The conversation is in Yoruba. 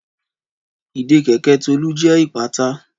Ìdè kèkẹ̀ Tolu jẹ ipata.